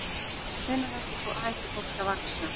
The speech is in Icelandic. Hvenær hættir fólk að vaxa?